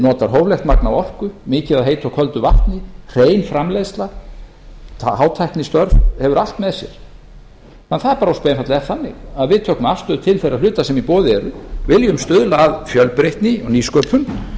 notar hóflegt magn af orku mikið af heitu og köldu vatni hrein framleiðsla hátæknistörf og hefur allt með sér það bara ósköp einfaldlega er þannig að við tökum afstöðu til þeirra hluta sem í boði eru viljum stuðla að fjölbreytni og nýsköpun